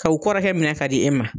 Ka u kɔrɔkɛ minɛ ka di e ma